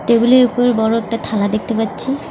Table -এর ওপর বড় একটা থালা দেখতে পাচ্ছি।